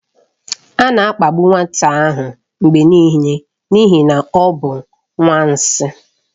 A na-akpagbu nwata ahụ mgbe niile n'ihi na ọ bụ nwanshi.